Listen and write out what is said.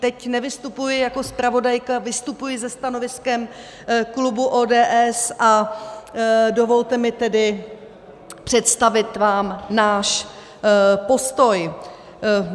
Teď nevystupuji jako zpravodajka, vystupuji se stanoviskem klubu ODS a dovolte mi tedy představit vám náš postoj.